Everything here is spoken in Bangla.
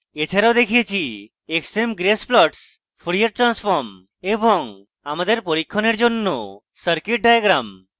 এছাড়াও দেখিয়েছি